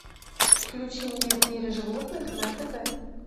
включи мне в мире животных на тв